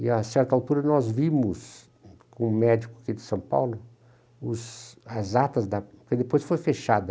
E a certa altura nós vimos, um médico aqui de São Paulo, os as atas, da depois foi fechada.